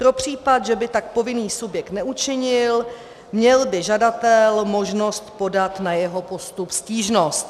Pro případ, že by tak povinný subjekt neučinil, měl by žadatel možnost podat na jeho postup stížnost.